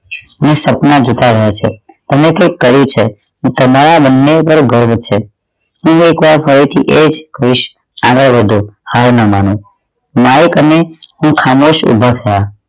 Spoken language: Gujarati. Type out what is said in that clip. સપના જોતાં આવ્યા છે અને ઍટલે જ કહે છે કે તમારા બંને ઉપર ગર્વ છે ફરી એકવાર હવે થી એ જ આગળ વાધો હાલ ના માનવો માઇક અને હું ખામોશ ઊભા હતા